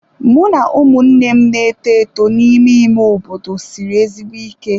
Mụ na ụmụnne m na-eto eto n'ime ime obodo siri ezigbo ike.